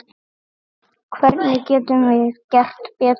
Hvernig getum við gert betur?